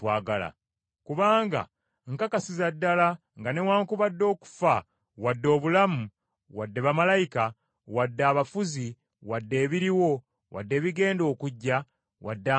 Kubanga nkakasiza ddala nga newaakubadde okufa, wadde obulamu, wadde bamalayika, wadde abafuzi, wadde ebiriwo, wadde ebigenda okujja, wadde amaanyi,